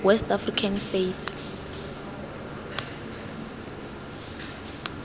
west african states